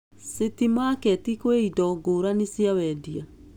City Market kwĩ indo ngũrani cia wendia.